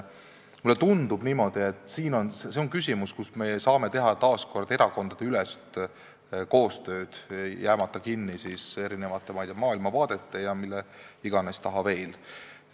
Mulle tundub, et see on ka üks valdkond, kus me saame teha erakondadeülest koostööd, jäämata kinni erinevate maailmavaadete taha ja mille iganes taha veel.